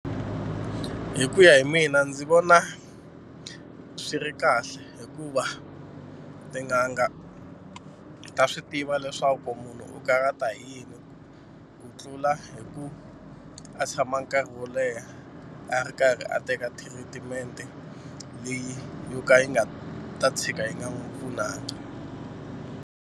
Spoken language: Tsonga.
Hi ku ya hi mina ndzi vona swi ri kahle hikuva tin'anga ta swi tiva leswaku munhu u karata hi yini u ku tlula hi ku a tshama nkarhi wo leha a ri karhi a teka thiritimente leyi yo ka yi nga ta tshika yi nga n'wi pfunangi.